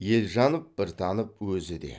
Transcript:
елжанов біртанов өзі де